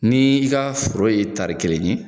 Ni i ka foro ye tari kelen ye